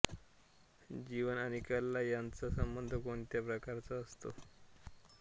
जीवन आणि कला यांचा संबंध कोणत्या प्रकाराचा असतो